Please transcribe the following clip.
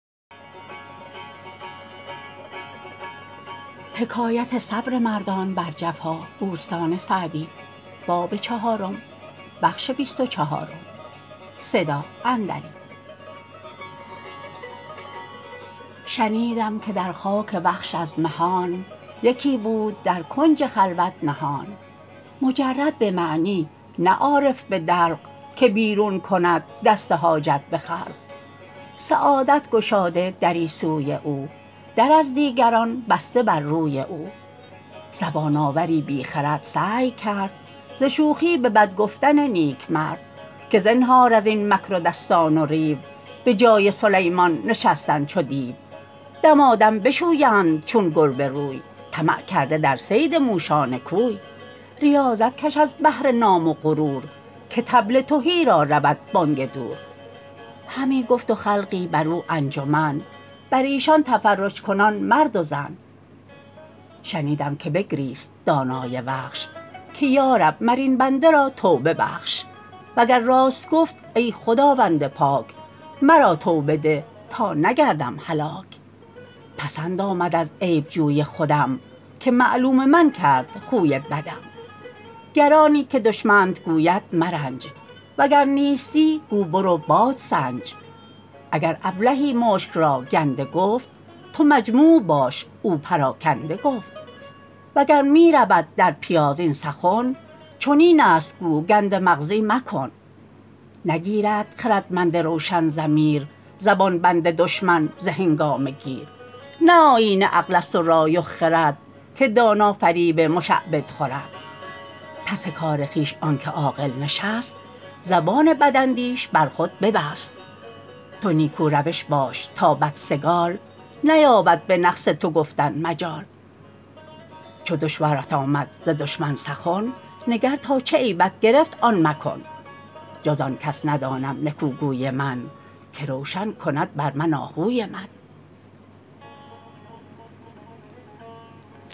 شنیدم که در خاک وخش از مهان یکی بود در کنج خلوت نهان مجرد به معنی نه عارف به دلق که بیرون کند دست حاجت به خلق سعادت گشاده دری سوی او در از دیگران بسته بر روی او زبان آوری بی خرد سعی کرد ز شوخی به بد گفتن نیک مرد که زنهار از این مکر و دستان و ریو بجای سلیمان نشستن چو دیو دمادم بشویند چون گربه روی طمع کرده در صید موشان کوی ریاضت کش از بهر نام و غرور که طبل تهی را رود بانگ دور همی گفت و خلقی بر او انجمن بر ایشان تفرج کنان مرد و زن شنیدم که بگریست دانای وخش که یارب مر این بنده را توبه بخش وگر راست گفت ای خداوند پاک مرا توبه ده تا نگردم هلاک پسند آمد از عیب جوی خودم که معلوم من کرد خوی بدم گر آنی که دشمنت گوید مرنج وگر نیستی گو برو بادسنج اگر ابلهی مشک را گنده گفت تو مجموع باش او پراکنده گفت وگر می رود در پیاز این سخن چنین است گو گنده مغزی مکن نگیرد خردمند روشن ضمیر زبان بند دشمن ز هنگامه گیر نه آیین عقل است و رای و خرد که دانا فریب مشعبد خورد پس کار خویش آنکه عاقل نشست زبان بداندیش بر خود ببست تو نیکو روش باش تا بدسگال نیابد به نقص تو گفتن مجال چو دشوارت آمد ز دشمن سخن نگر تا چه عیبت گرفت آن مکن جز آن کس ندانم نکو گوی من که روشن کند بر من آهوی من